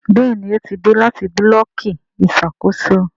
Béèni o tí dé láti Búlọ̀kì Ìṣàkóso.